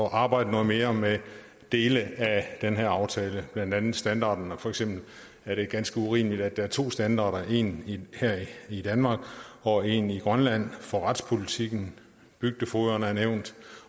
at arbejde noget mere med dele af den her aftale blandt andet standarden for eksempel er det ganske urimeligt at der er to standarder en her i danmark og en i grønland for retspolitikken bygdefogederne er nævnt